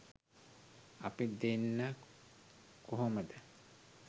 අපි දෙන්න කොහොමද